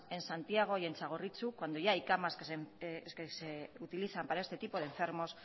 en santiago y en txagorritxu cuando ya hay camas que se utilizan para este tipo de enfermos